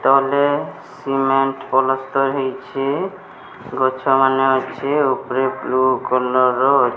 ତଲେ ସିମେଣ୍ଟ ପଲସ୍ତର ହେଇଛି ଗଛମାନେ ଅଛି ଉପରେ ବ୍ଲୁ କଲର୍ ର ଅ --